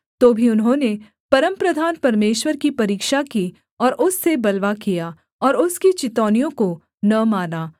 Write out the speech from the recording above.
तो भी उन्होंने परमप्रधान परमेश्वर की परीक्षा की और उससे बलवा किया और उसकी चितौनियों को न माना